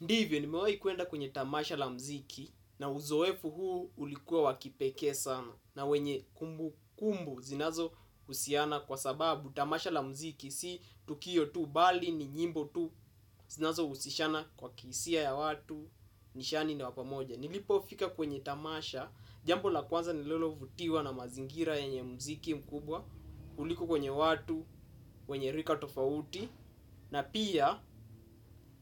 Ndiyo nimewahi kwenda kwenye tamasha la mziki na uzohefu huu ulikuwa wa kipekee sana, na wenye kumbukumbu zinazo husiana kwa sababu tamasha la mziki si tukio bahali ni nyimbo tu zinazo husishana kwa kihisia za watu nishani na pamoja. Nilipo fika kwenye tamasha, jambo la kwanza nilolo vutiwa na mazingira yenye mziki mkubwa. Ulikuwa kwenye watu, wenye rika tofauti. Na pia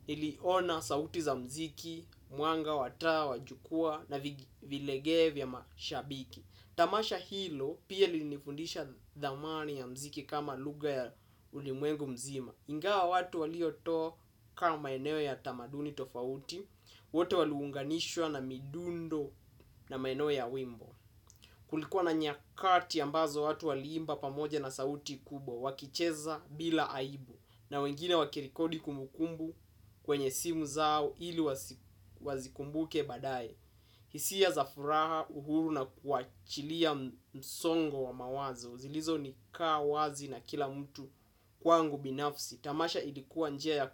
niliona sauti za mziki, mwanga wa taa, jukua na vilegee vya mashabiki. Tamasha hilo pia lilinifundisha dhamani ya mziki kama lugha ya ulimwengu mzima. Ingawa watu walioto kama eneo ya tamaduni tofauti wote waluunganishwa na midundo na maeno ya wimbo. Kulikuwa na nyakati ambazo watu waliimba pamoja na sauti kubwa. Wakicheza bila aibu. Na wengine wakirekodi kumbukumbu kwenye simu zao ili wazikumbuke baadaye. Hisia za furaha uhuru na kuachilia msongo wa mawazo zilizo nikaa wazi na kila mtu kwangu binafsi. Tamasha ilikuwa njia ya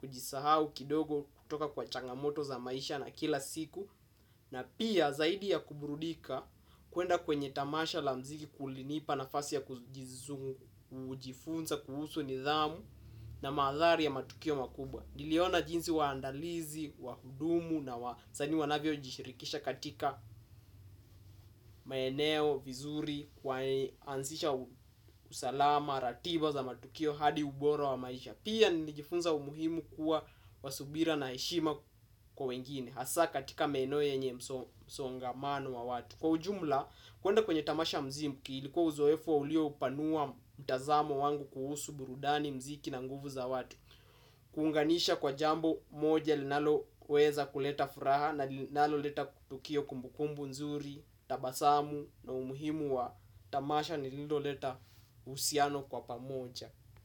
kujisahaukidogo kutoka kwa changamoto za maisha na kila siku. Na pia zaidi ya kubrudika kuhenda kwenye tamasha la mziki kulinipa nafasi ya kujifunza kuhusu nidhamu na maathari ya matukio makubwa. Niliona jinsi waandalizi, wahudumu na zani wanavyo jishirikisha katika maeneo, vizuri, walianzisha usalama, ratiba za matukio hadi uboro wa maisha. Pia nilijifunza umuhimu kuwa wasubira na eshima kwa wengine. Hasa katika maeneo yenye msongamano wa watu kwa ujumla, kuenda kwenye tamasha wa mziki ilikuwa uzoefu ulio upanua mtazamo wangu kuhusu burudani mziki na nguvu za watu. Kuunganisha kwa jambo moja linalo weza kuleta furaha na linalo leta tukio kumbukumbu nzuri, tabasamu na umuhimu wa tamasha nililo leta usiano kwa pamoja.